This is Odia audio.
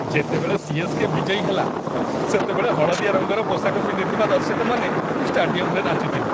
ଯେତେବେଳେ ସି.ଏସ୍.କେ. ବିଜୟୀ ହେଲା, ସେତେବେଳେ ହଳଦିଆ ରଙ୍ଗର ପୋଷାକ ପିନ୍ଧିଥିବା ଦର୍ଶକମାନେ ଷ୍ଟାଡିୟମରେ ନାଚୁଥିଲେ।